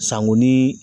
Sanko ni